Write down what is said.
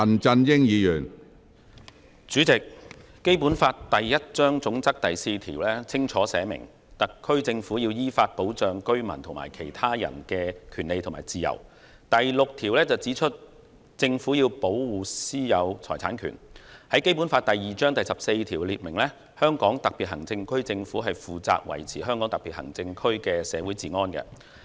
主席，《基本法》第一章總則第四條清楚訂明特區政府要依法保障居民及其他人的權利和自由；第六條指出政府要保護私有財產權；《基本法》第二章第十四條訂明香港特別行政區政府負責維持香港特別行政區的社會治安。